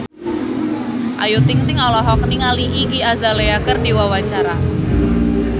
Ayu Ting-ting olohok ningali Iggy Azalea keur diwawancara